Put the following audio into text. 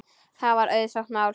Það var auðsótt mál.